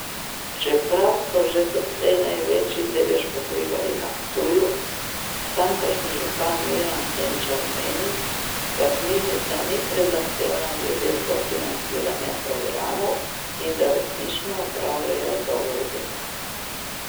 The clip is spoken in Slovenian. Čeprav so že doslej največji delež pokrivali na Ptuju, tamkajšnji župan Miran Senčar meni, da knjižnica ni prezahtevna glede sofinanciranja programov in da resnično opravljajo dobro delo.